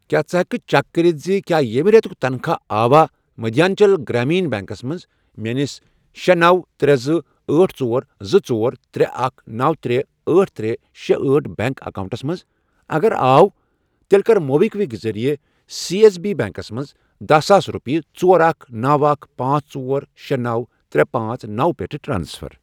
کیٛاہ ژٕ ہٮ۪کہٕ کھہ چیک کٔرِتھ زِ کیٛاہ ییٚمہِ رٮ۪تُک تنخواہ آوا مٔدھیانٛچل گرٛامیٖن بیٚنٛکس منٛز میٲنِس شے، نوَ، ترے، زٕ، أٹھ، ژور، زٕ، ژور، ترے، اکھ، نوَ، ترے، أٹھ، ترے، شے، أٹھ، بینک آکاونٹَس منٛز، اگر آو تیٚلہِ کَر موبِکوِک ذٔریعہٕ سیٚ ایٚس بی بیٚنٛکس منٛز دہَ ساس رۄپیہِ ژور، اکھَ، نوَ، اکھَ، پانژھ، ژور، شے، نوَ، ترے، پانژھ، نوَ، پٮ۪ٹھ ٹرانسفر؟